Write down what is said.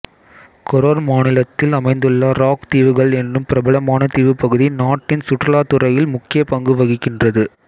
Koror மாநிலத்தில் அமைந்துள்ள rock தீவுகள் எனும் பிரபலாமான தீவுப்பகுதி நாட்டின் சுற்றுலாத்துறையில் முக்கிய பங்கு வகிக்கின்றது